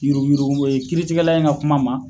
Yuruguyurugu m e kiiritigɛla in ka kuma ma